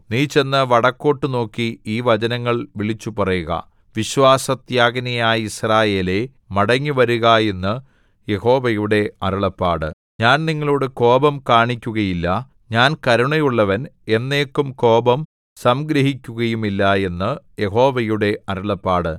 നീ ചെന്ന് വടക്കോട്ടു നോക്കി ഈ വചനങ്ങൾ വിളിച്ചുപറയുക വിശ്വാസത്യാഗിനിയായ യിസ്രായേലേ മടങ്ങിവരുക എന്ന് യഹോവയുടെ അരുളപ്പാട് ഞാൻ നിങ്ങളോടു കോപം കാണിക്കുകയില്ല ഞാൻ കരുണയുള്ളവൻ എന്നേക്കും കോപം സംഗ്രഹിക്കുകയുമില്ല എന്ന് യഹോവയുടെ അരുളപ്പാട്